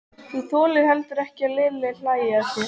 Þú þolir heldur ekki að Lilli hlæi að þér.